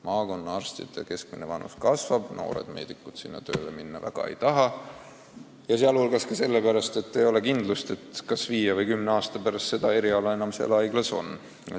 Maakonnaarstide keskmine vanus kasvab, noored meedikud sinna tööle minna väga ei taha ja seda ka sellepärast, et ei ole kindlust, kas viie või kümne aasta pärast seda eriala enam seal haiglas on.